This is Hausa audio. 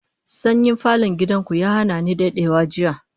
Sanyin falon gidan ku ya hana ni dadewa jiya